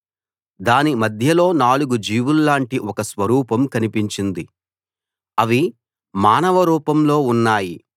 దాని మధ్యలో నాలుగు జీవుల్లాంటి ఒక స్వరూపం కనిపించింది అవి మానవ రూపంలో ఉన్నాయి